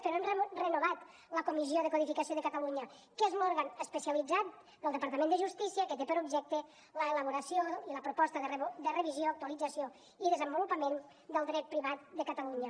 però hem renovat la comissió de codificació de catalunya que és l’òrgan especialitzat del departament de justícia que té per objecte l’elaboració i la proposta de revisió actualització i desenvolupament del dret privat de catalunya